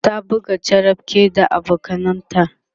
ta buga charapke da abokananta